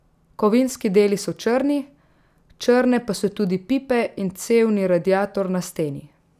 Kovinski deli so črni, črne pa so tudi pipe in cevni radiator na steni.